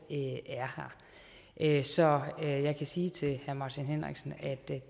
er her så jeg kan sige til herre martin henriksen at det